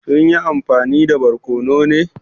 Sun yi amfani da barkono ne?